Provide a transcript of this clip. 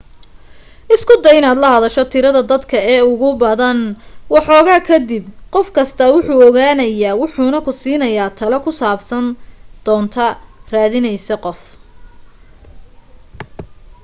isku day inaad la hadasho tirada dadka ee ugu badan waxoogaa ka dib qof kastaa wuu ku ogaanaya wuxuna ku siinayaa talo ku saabsan doonta raadinaysa qof